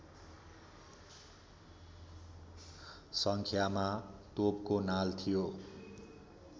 सङ्ख्यामा तोपको नाल थियो